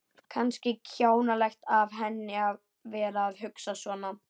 Kannski kjánalegt af henni að vera að hugsa svona.